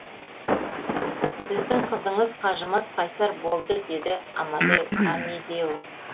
сіздің қызыңыз қажымас қайсар болды деді амедео